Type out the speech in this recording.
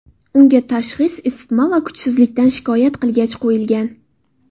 Unga tashxis isitma va kuchsizlikdan shikoyat qilgach, qo‘yilgan.